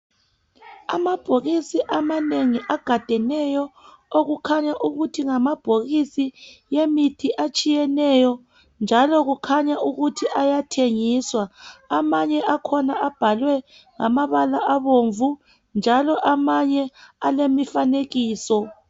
Amabhokisi amanengi agadeneyo okukhanya ukuthi ngamabhokisi emithi etshiyeneyo njalo kukhanya ukuthi ayathengiswa amanye akhona abhalwe ngamabala abomvu njalo amanye alemifanekiso.